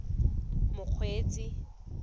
mokgweetsi